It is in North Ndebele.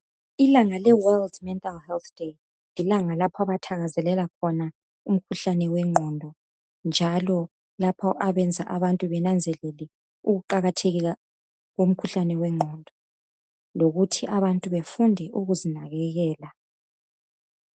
Ilanga le world mental health day lilanga lapho abathakazelela khona umkhuhlane wengqondo njalo lapho abenza abantu benanzelele ukuqakatheka komkhuhlane wengqondo lokuthi abantu befunde ukuzinakekela.